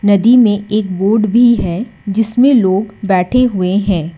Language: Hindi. नदी में एक बोट भी है जिसमें लोग बैठे हुए हैं।